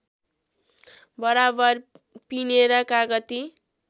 बराबर पिनेर कागती